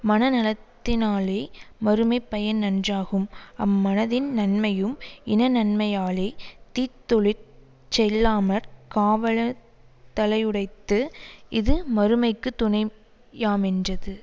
மன நலத்தினாலே மறுமை பயன் நன்றாகும் அம்மனத்தின் நன்மையும் இனநன்மையாலே தீத்தொழிலிற் செல்லாமற் காவலத்தலையுடைத்து இது மறுமைக்கு துணையாமென்றது